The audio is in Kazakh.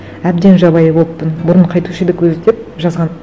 әбден жабайы болыппын бұрын қайтуші едік өзі деп жазған